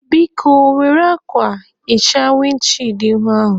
Biko, Were akwa hichaa windi chịịd ihu a